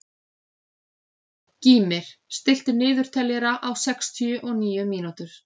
Gýmir, stilltu niðurteljara á sextíu og níu mínútur.